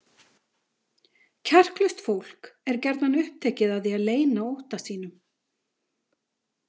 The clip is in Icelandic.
Kjarklaust fólk er gjarnan upptekið af því að leyna ótta sínum.